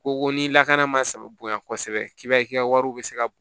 Ko ko ni lakana ma saba bonya kosɛbɛ k'i b'a ye i ka wariw bɛ se ka b